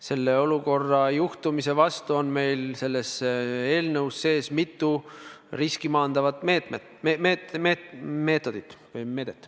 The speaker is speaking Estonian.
Sellise olukorra tekke vastu on meil selles eelnõus mitu riski maandavat meetodit.